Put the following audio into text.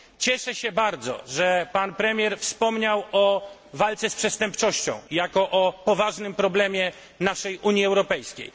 Cieszę się bardzo, że pan premier wspomniał o walce z przestępczością jako o poważnym problemie naszej Unii Europejskiej.